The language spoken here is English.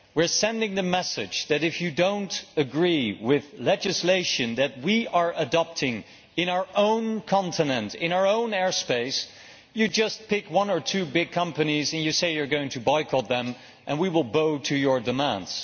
We are sending the message that if you do not agree with legislation that we are adopting in our own continent, in our own airspace, you just pick one or two big companies and you say you are going to boycott them and we will bow to your demands.